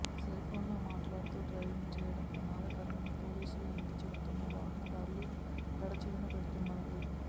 cell ఫోన్లో మాట్లాడుతూ driving చేయడం ప్రమాదకరమని పోలీసులు ఎంతగా చెబుతున్నా వాహనదారులు పెడచెవిన పెడుతున్నారు